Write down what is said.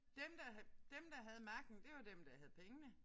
Dem der dem der havde magten det var dem der havde pengene